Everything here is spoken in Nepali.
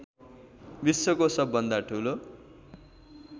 विश्वको सबभन्दा ठुलो